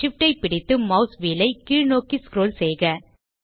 SHIFT ஐ பிடித்து mouse wheel ஐ கீழ் நோக்கி ஸ்க்ரோல் செய்க